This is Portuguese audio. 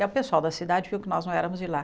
E o pessoal da cidade viu que nós não éramos de lá.